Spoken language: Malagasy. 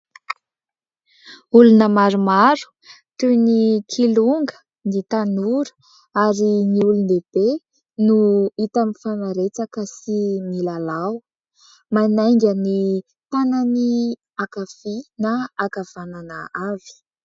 Olona maromaro toy ny kilonga, ny tanora ary ny olon-dehibe no hita mifanaretsaka sy milalao ; manainga ny tanany ankavia na ankavanana avy.